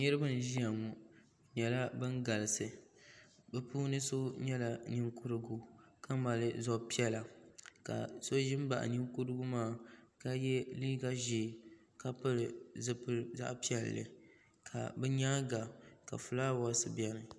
Niriba n ʒia ŋɔ bɛ nyɛla ban galisi bɛ puuni so nyɛla Ninkurigu ka mali zab'piɛlla ka so ʒi m baɣi Ninkurigu maa ka ye liiga ʒee ka pili zipili zaɣa piɛlli ka bɛ nyaanga filaawaasi biɛni.